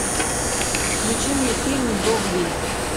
включи мне фильм догвилль